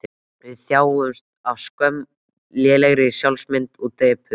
Við þjáumst af skömm, lélegri sjálfsmynd og depurð.